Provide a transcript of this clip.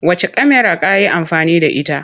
Wacce kyamara ka yi amfani da ita?